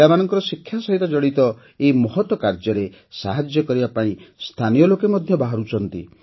ପିଲାମାନଙ୍କର ଶିକ୍ଷା ସହିତ ଜଡ଼ିତ ଏହି ମହତ୍ କାମରେ ସାହାଯ୍ୟ କରିବା ପାଇଁ ସ୍ଥାନୀୟ ଲୋକେ ମଧ୍ୟ ବାହାରୁଛନ୍ତି